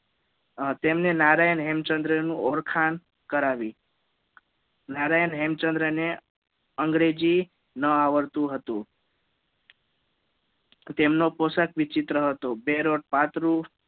તેમણે નારાયણ હેમચંદ્ર ની ઓળખાણ કરાવી નારાયણ હેમચંદ્ર ને અંગ્રેજી ન આવડતું હતુ તેમનો પોશાક વિચિત્ર હતો બેરોડ પાત્રું